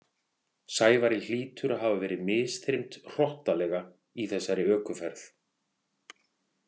Sævari hlýtur að hafa verið misþyrmt hrottalega í þessari ökuferð.